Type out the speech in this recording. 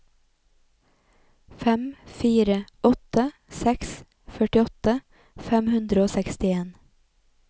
fem fire åtte seks førtiåtte fem hundre og sekstien